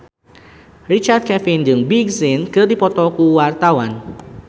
Richard Kevin jeung Big Sean keur dipoto ku wartawan